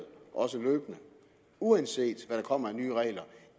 løbende uanset hvad der kommer af nye regler